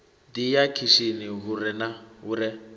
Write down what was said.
ḓi ya khishini hu re